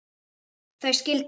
þau skildu.